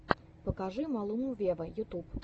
покажи малуму вево ютюб